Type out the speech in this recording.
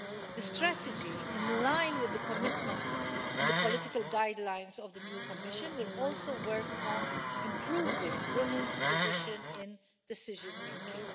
The strategy, in line with the commitments and the political guidelines of the new Commission, will also work on improving women's positions in decision making.